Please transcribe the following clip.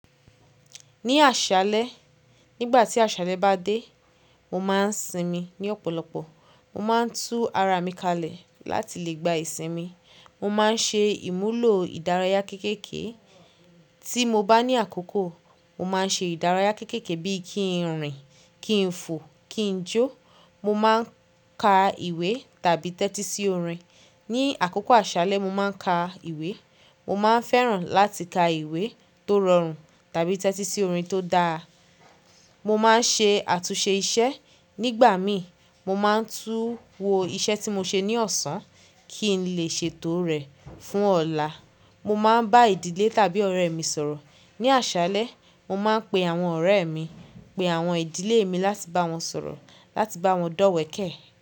Ní àṣálẹ́, nígbà tí àṣálẹ́ bá dé, mo máa ń sinmi ní ọ̀pọ̀lọpọ̀. Mo máa ń tú ara mi kalẹ̀ láti lè gba ìsinmi. Mo máa ń ṣe ìmúlò ìdárayá kéékèèké. Tí mo bá ní àkókò, mo máa ń ṣe ìdárayá kéékèèké bí kí n rìn, kí n fò, kí n jó. Mo máa ń ka ìwé tàbí tẹ́tí sí orin. Ni àkókò àṣálẹ́, mo máa ń ka ìwé. Mo máa ń fẹ́ràn láti ka ìwé tó rọrùn tàbí tẹ́tí sí orin tó dára. Mo máa ń ṣe àtúnṣe iṣẹ́. Nígbà mi, mo máa ń tú wo iṣẹ́ tí mo ṣe ní ọ̀sán kí n lè ṣètò rẹ̀ fún ọ̀la. Mo máa ń bá ìdílé tàbí ọ̀rẹ́ mi sọ̀rọ̀. Ni àṣálẹ́, mo máa ń pe àwọn ọ̀rẹ́ mi, pe àwọn ìdílé mi láti bá wọn sọ̀rọ̀, láti bá wọn dọ́wẹ̀ẹ́kẹ́